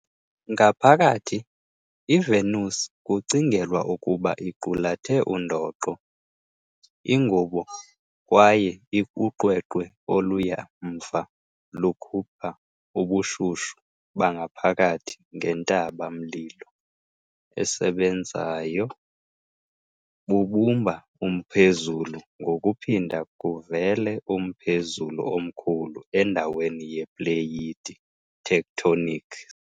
Ngaphakathi, iVenus kucingelwa ukuba iqulathe undoqo, ingubo, kwaye uqweqwe, oluya mva lukhupha ubushushu bangaphakathi ngentaba-mlilo esebenzayo, bubumba umphezulu ngokuphinda kuvele umphezulu omkhulu endaweni yepleyiti tectonics.